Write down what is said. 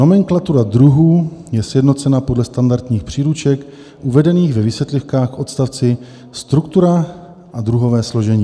Nomenklatura druhů je sjednocena podle standardních příruček uvedených ve vysvětlivkách k odstavci Struktura a druhové složení.